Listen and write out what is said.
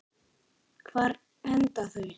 Hvar enda þau?